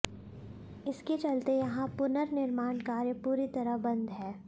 इसके चलते यहां पुनर्निर्माण कार्य पूरी तरह बंद हैं